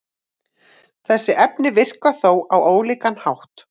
Þessi efni virka þó á ólíkan hátt.